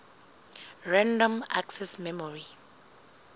random access memory